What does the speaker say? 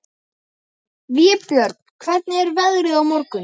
Vébjörn, hvernig er veðrið á morgun?